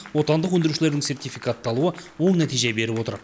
отандық өндірушілердің сертификатталуы оң нәтиже беріп отыр